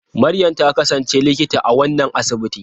Maryam ta kasance Likita a wannan asibiti.